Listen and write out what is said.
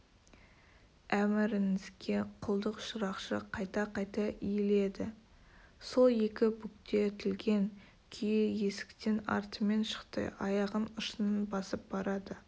әміріңізге құлдық шырақшы қайта-қайта иіледі сол екі бүктетілген күйі есіктен артымен шықты аяғын ұшынан басып барады